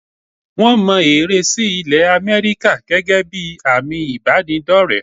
Wọ́n mọ ère sí ilẹ̀ Àmẹ́ríkà gẹ́gẹ́ bí àmì ìbánidọ́rẹ̀ẹ́.